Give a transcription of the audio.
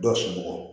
Dɔ sulu bɔ